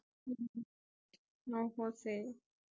ஓஹோ சரி